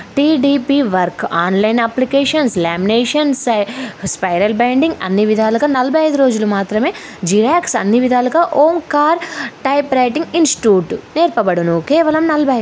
TDP work online applications laminations spiral binding అన్నీ విధాలుగా నాలబై ఐదు రోజులు మాత్రమే జిరాక్స్ అన్నీ విధాలుగా ఓంకార్ టైపు రైటింగ్ ఇన్స్టూట్ నేర్పబడను కేవలం నాలబై--